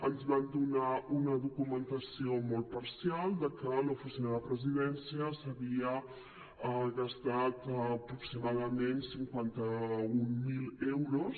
ens van donar una documentació molt parcial de que l’oficina de presidència s’havia gastat aproximadament cinquanta mil euros